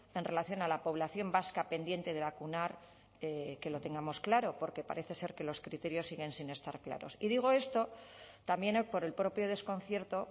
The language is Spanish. en relación a la población vasca pendiente de vacunar que lo tengamos claro porque parece ser que los criterios siguen sin estar claros y digo esto también por el propio desconcierto